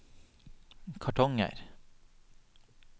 kartonger